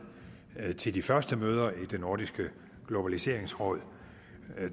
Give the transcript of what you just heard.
til de første møder i det nordiske globaliseringsråd